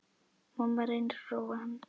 Mamma reynir að róa hann.